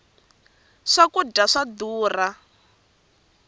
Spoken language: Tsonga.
swa kudya swa durha